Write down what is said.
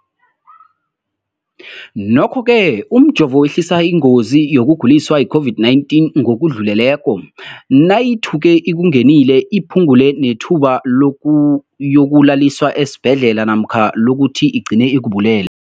Nokho-ke umjovo wehlisa ingozi yokuguliswa yi-COVID-19 ngokudluleleko, nayithuke ikungenile, iphu ngule nethuba lokuyokulaliswa esibhedlela namkha lokuthi igcine ikubulele.